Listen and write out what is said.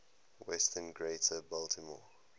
western greater baltimore